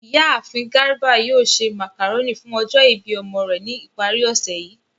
Iyaafin Garba yoo ṣe macaroni fun ọjọ ibi ọmọ rẹ ni ipari osẹ yii.